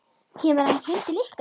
Kemur hann heim til ykkar?